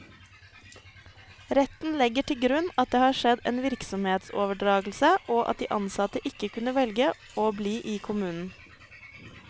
Retten legger til grunn at det har skjedd en virksomhetsoverdragelse, og at de ansatte ikke kunne velge å bli i kommunen.